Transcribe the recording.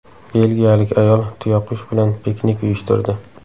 Belgiyalik ayol tuyaqush bilan piknik uyushtirdi.